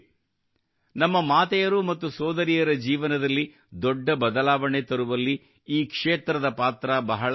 ನಮ್ಮ ಮಾತೆಯರು ಮತ್ತು ಸೋದರಿಯರ ಜೀವನದಲ್ಲಿ ದೊಡ್ಡ ಬದಲಾವಣೆ ತರುವಲ್ಲಿ ಈ ಕ್ಷೇತ್ರದ ಪಾತ್ರ ಬಹಳ ಮುಖ್ಯವಾಗಿದೆ